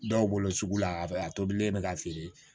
Dɔw bolo sugu la a tobilen bɛ ka feere